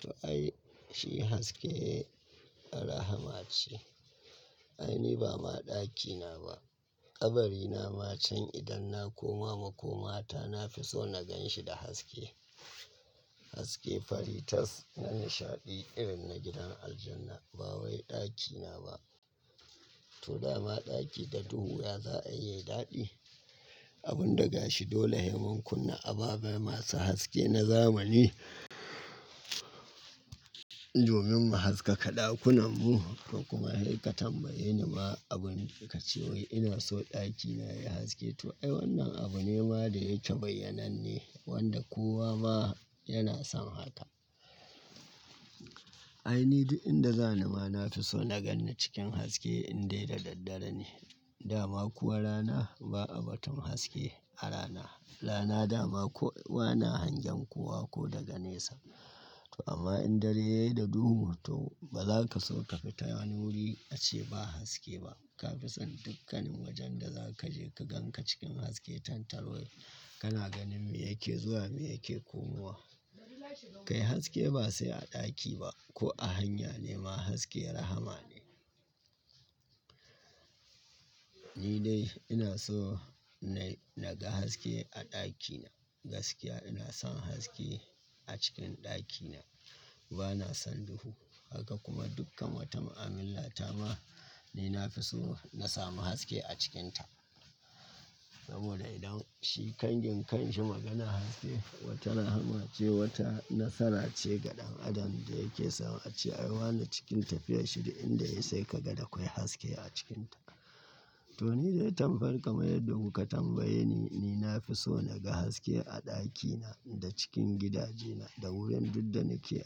To ai, shi haske rahama ce. Ai ni ba ma ɗakina ba. Kabarina ma can idan na koma makoma ta, na fi so na gan shi da haske. Haske fari tas na nishaɗi irin na gidan aljanna. Ba wai ɗakina ba. To dama ɗaki da duhu ya za a yi daɗi. Abun da gashi dole haiman kunne. Ababe masu haske na zamani. Domin mu haskaka ɗakunanmu da kuma hakikatan bayyanewa. Abun ka ce wai ina so ɗakina ya yi haske. To ai wannan abu ne ma da yake bayyanan ne wanda kowa ma yana son haka. Ai ni duk inda za ni ma na fi so na gan ni cikin haske in dai da daddare ne. Dama kuwa rana ba a batun haske a rana. Rana dama ko wana hangen kowa ko daga nesa. To amma in dare da duhu to ba za ka so ka fita wani wuri ace ba haske ba. Ka fi son dukkanin wajen da za ka je ka gan ka cikin haske. Tantar wai kana ganin me yake zuwa me yake komawa. Kai haske ba sai a ɗaki ba ko a hanya ne ma haske rahama ne. Ni dai ina so na naga haske a ɗakina. Gaskiya ina son haske a cikin ɗakina. Ba na son duhu. Haka kuma dukkan wata ma'amila ta ma dai na fi so na samu haske a cikinta. Saboda idan shi kangin kangin shi magana haske wata rahama ce wata nasara ce ga ɗan adam da yake so a ce ai wana cikinta fiye da shida inda ya sai ka ga dakwai haske a cikinta. To ni dai tambayar ka mayar duk ka tambaye ni. Ni na fi so naga haske a ɗakina da cikin gidajena da wurin duk da nake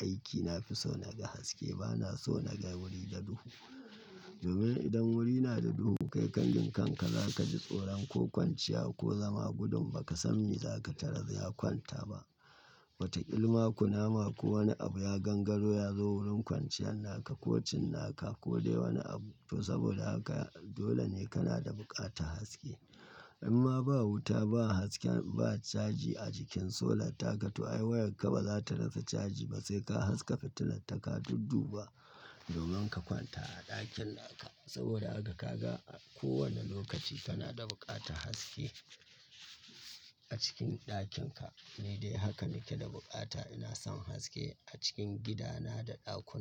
aiki na fi so naga haske. Ba na so naga wuri da duhu. Domin idan wuri na da duhu kai kangin kan ka za ka ji tsoro ko kwanciya ko zama gudun ba ka san me za ka tarar ya kwanta ba. Wata ilma kunama ko wani abu ya gangaro ya zo wurin kwanciyan naka ko cinnaka ko dai wani abu. To saboda haka dole ne kana da buƙatar haske. Inma ba wuta ba haske ba caji a jikin solar taka. To ai wayar ka ba za ta rasa caji ba sai ka haska fitilar taka dudduba domin ka kwanta a ɗakin naka. Saboda haka ka ga a kowane lokaci kana da buƙatar haske a cikin ɗakinka. Ni dai haka nake da buƙata ina son haske a cikin gidana da ɗakuna.